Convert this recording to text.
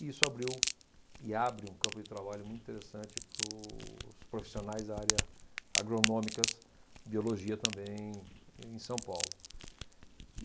E isso abriu e abre um campo de trabalho muito interessante para os profissionais da área agronômicas, biologia também, em São Paulo.